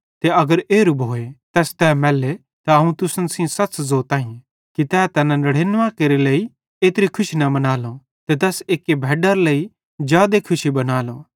ते अगर एरू भोए तैस तै मैल्ले त अवं तुसन सेइं सच्च़ ज़ोताईं कि तै तैना नड़ेनुवें केरे लेइ एत्री खुशी न मनालो ते तैस एक्की भैडारे लेइ जादे खुशी बनालो